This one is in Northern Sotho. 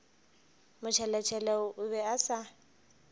motšheletšhele o be a sa